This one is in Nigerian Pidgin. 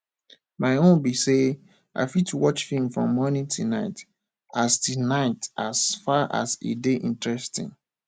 my own be say i fit watch film from morning till night as till night as far as e dey interesting